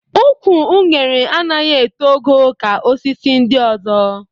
Ụkwụ unere anaghị eto ogo ka osisi ndị ọzọ